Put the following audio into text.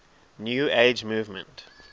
new age movement